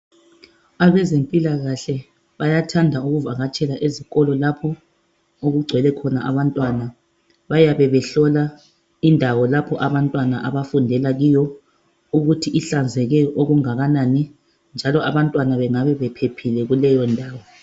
Abezempilakahle bayathanda ukuvakatshela ezikolo lapho okugcwele khona abantwana bayabe behlola indawo lapho abantwana abafundela kiyo okuthi ihlanzeke okungakanani njalo abantwana bengabe bephephile kuleyondawo.